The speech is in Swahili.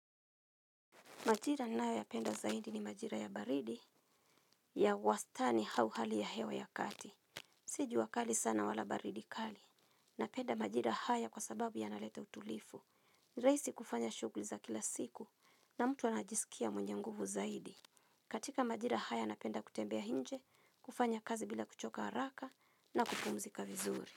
Majira nao ya penda zaidi ni majira ya baridi ya wastani hau hali ya hewa ya kati. Si jua li sana wala baridi kali. Napenda majira haya kwa sababu yanaleta utulifu. Raisi kufanya shugli za kila siku na mtu anajisikia mwenye nguvu zaidi. Katika majira haya napenda kutembea inje, kufanya kazi bila kuchoka haraka na kupumzika vizuri.